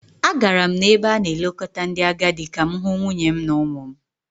Agara m n’ebe a na-elekọta ndị agadi ka m hụ nwunye m na ụmụ m